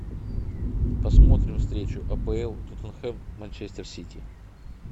посмотрим встречу апл тоттенхэм манчестер сити